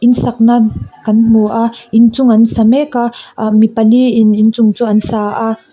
in sakna kan hmu a inchung an sa mek a aa mi pali in inchung chu an sa a.